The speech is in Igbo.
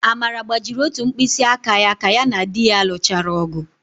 Amara gbajiri ótù mkpịsịaka ka ya na di ya lụchara ọ̀gụ̀.